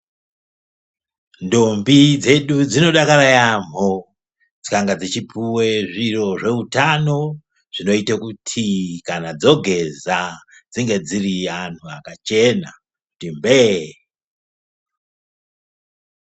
Ndombi dzedu dzinodakara yaamho dzikanga dzichipuve zviro zveutano. Zvinoite kuti kana dzageza dzinge dziri antu akachena kuti mbee.